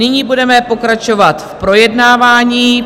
Nyní budeme pokračovat v projednávání.